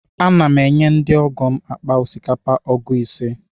Ana m enye ndị ọgọ m akpa osikapa ọgụ ise.